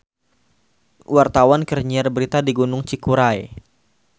Wartawan keur nyiar berita di Gunung Cikuray